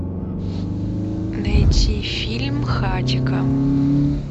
найти фильм хатико